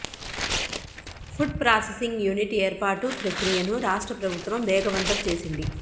food processing unit ఏర్పాటు ప్రక్రియను రాష్ట్ర ప్రభుత్వం వేగవంతం చేసింది